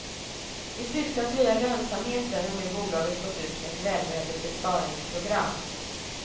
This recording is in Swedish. I syfte att höja lönsamheten har nu bolaget gått ut med ett välbehövligt besparingsprogram.